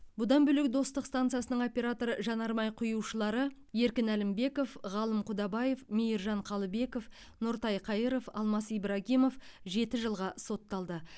бұдан бөлек достық станциясының оператор жанармай құюшылары еркін әлімбеков ғалым құдабаев мейіржан қалыбеков нұртай қайыров алмас ибрагимов жеті жылға сотталды